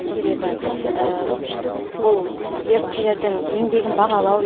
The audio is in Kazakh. себебі бұл еріктілердің еңбегін бағалау